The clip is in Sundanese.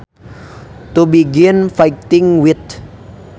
To begin fighting with